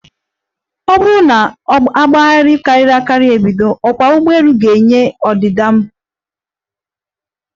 Ọ bụrụ na ogbaghara karịrị akari ebido, ọkwa ụgbọelu ga -enwe ọdịda mberede.